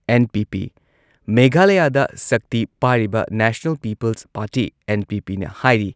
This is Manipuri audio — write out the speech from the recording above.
ꯑꯦꯟ.ꯄꯤ.ꯄꯤ. ꯃꯦꯘꯥꯂꯥꯌꯥꯗ ꯁꯛꯇꯤ ꯄꯥꯏꯔꯤꯕ ꯅꯦꯁꯅꯦꯜ ꯄꯤꯄꯜꯁ ꯄꯥꯔꯇꯤ ꯑꯦꯟ.ꯄꯤ.ꯄꯤꯅ ꯍꯥꯏꯔꯤ